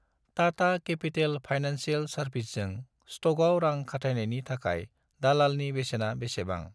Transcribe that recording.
Tata capital financial सार्भिसेसजों सट'कआव रां खाथायनायनि थाखाय दालालनि बेसेना बेसेबां?